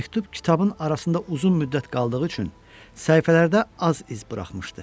Məktub kitabın arasında uzun müddət qaldığı üçün səhifələrdə az iz buraxmışdı.